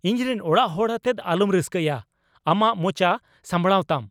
ᱤᱧᱨᱮᱱ ᱚᱲᱟᱜ ᱦᱚᱲ ᱟᱛᱮᱫ ᱟᱞᱚᱢ ᱨᱟᱹᱥᱠᱟᱹᱭᱟ ! ᱟᱢᱟᱜ ᱢᱚᱪᱟ ᱥᱟᱸᱵᱲᱟᱣᱛᱟᱢ !